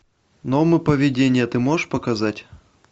нормы поведения ты можешь показать